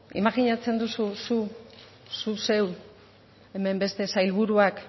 imajinatzen duzu zu zu zeu hemen beste sailburuak